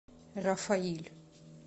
рафаиль